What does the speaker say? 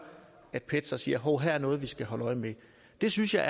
at pet så siger at hov her er noget vi skal holde øje med det synes jeg